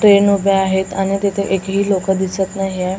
Train उभ्या आहेत आणि तिथे एकही लोकं दिसत नाहीए.